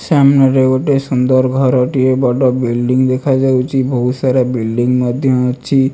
ସାମ୍ନାରେ ଗୋଟେ ସୁନ୍ଦର ଘରଟିଏ। ବଡ଼ ବିଲଡିଂ ଦେଖା ଯାଉଚି। ଭୋଉତ୍ ସାରା ବିଲଡ଼ିଂ ମଧ୍ୟ ଅଛି।